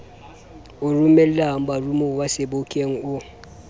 o romelang baromuwa sebokeng o